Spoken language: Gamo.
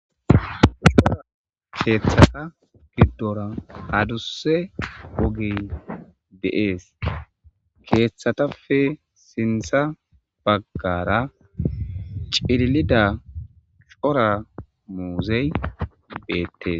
Ushora keeththasa giddora aduse wogey deees keeththatafe sintha baggara cilida xora muuzey beettes.